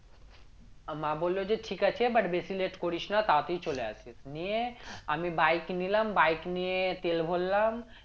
মা বললো যে ঠিক আছে but বেশি late করিস না তাড়াতাড়ি চলে আসিস নিয়ে আমি bike নিলাম bike নিয়ে তেল ভরলাম